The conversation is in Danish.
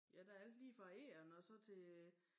Ja der alt lige fra egern og så til